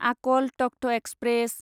आकल तख्त एक्सप्रेस